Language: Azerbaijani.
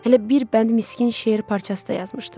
Hələ bir bənd miskin şeir parçası da yazmışdım.